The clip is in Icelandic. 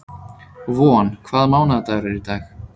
Von, hvaða mánaðardagur er í dag?